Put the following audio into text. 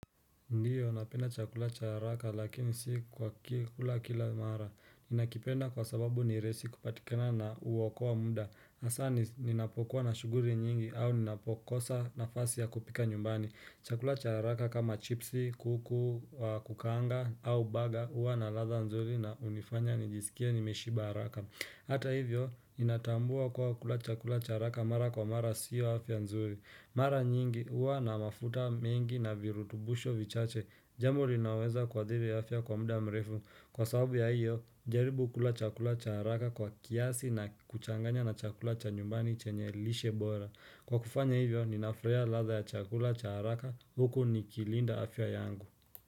Ndiyo, napenda chakula cha haraka lakini si kwa kula kila mara. Ninakipenda kwa sababu ni rahisi kupatikana na huokoa muda. Hasa ninapokuwa na shughuli nyingi au ninapokosa nafasi ya kupika nyumbani. Chakula cha haraka kama chipsi, kuku wa kukaanga au baga huwa na ladha nzuri na hunifanya nijisikie nimeshiba haraka. Hata hivyo, ninatambua kuwa kula chakula cha haraka mara kwa mara siyo afya nzuri. Mara nyingi huwa na mafuta mengi na virutubisho vichache, jambo linaweza kuadhiri afya kwa muda mrefu. Kwa sababu ya hiyo, jaribu kula chakula cha haraka kwa kiasi na kuchanganya na chakula cha nyumbani chenye lishe bora. Kwa kufanya hivyo, ninafurahia ladha ya chakula cha haraka huku nikilinda afya yangu.